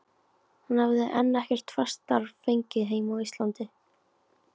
Hann hefði enn ekkert fast starf fengið heima á Íslandi.